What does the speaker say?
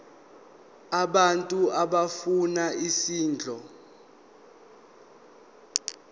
abantu abafuna isondlo